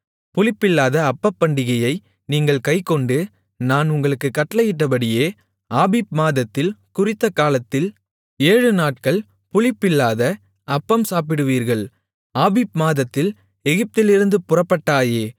புளிப்பில்லாத அப்பப்பண்டிகையை நீங்கள் கைக்கொண்டு நான் உங்களுக்குக் கட்டளையிட்டபடியே ஆபீப் மாதத்தில் குறித்த காலத்தில் ஏழுநாட்கள் புளிப்பில்லாத அப்பம் சாப்பிடுவீர்கள் ஆபீப் மாதத்தில் எகிப்திலிருந்து புறப்பட்டாயே